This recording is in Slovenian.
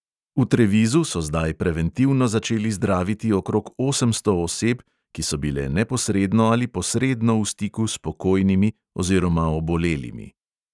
V trevizu so zdaj preventivno začeli zdraviti okrog osemsto oseb, ki so bile neposredno ali posredno v stiku s pokojnimi oziroma obolelimi ...